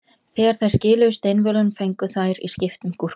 Þegar þær skiluðu steinvölunum fengu þær í skiptum gúrkusneið.